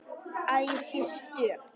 Að ég sé stök.